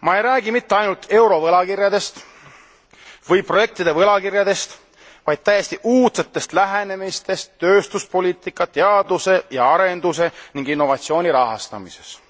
Ma ei räägi mitte ainult eurovõlakirjadest või projektide võlakirjadest, vaid täiesti uudsetest lähenemisviisidest tööstuspoliitika, teaduse ja arenduse ning innovatsiooni rahastamises.